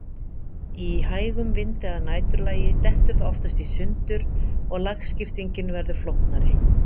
Í hægum vindi að næturlagi dettur það oftast í sundur og lagskiptingin verður flóknari.